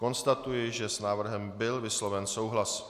Konstatuji, že s návrhem byl vysloven souhlas.